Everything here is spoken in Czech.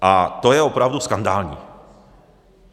A to je opravdu skandální.